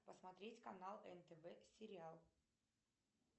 посмотреть канал нтв сериал